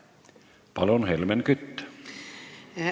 Palun, Helmen Kütt!